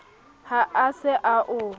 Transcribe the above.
ha a se a o